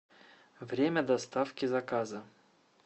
время доставки заказа